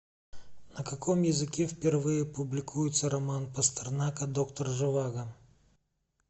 на каком языке впервые публикуется роман пастернака доктор живаго